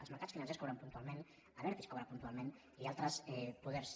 els mercats financers cobren puntualment abertis cobra puntualment i altres poders